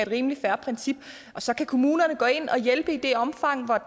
rimelig fair princip og så kan kommunerne gå ind og hjælpe i det omfang